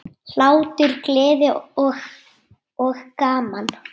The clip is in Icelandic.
Hlátur, gleði og gaman.